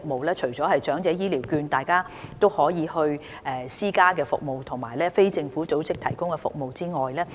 此外，長者也可使用長者醫療券購買私營服務，而非政府組織亦有提供這方面的服務。